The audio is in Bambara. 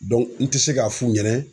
n tɛ se k'a f'u ɲɛnɛ